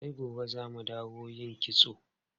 Sai gobe za mu dawo yin kitson.